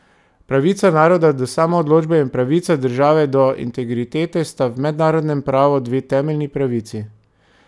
Pravica naroda do samoodločbe in pravica države do integritete sta v mednarodnem pravu dve temeljni pravici.